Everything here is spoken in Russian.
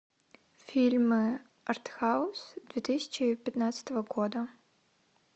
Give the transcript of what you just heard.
фильмы артхаус две тысячи пятнадцатого года